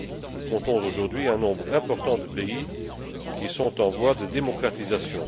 Nous comptons aujourd'hui un nombre important de pays qui sont en voie de démocratisation.